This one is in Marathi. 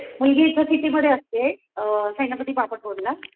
मुलगी इथे सिटीमध्ये असते अ सेनापती बापट रोडला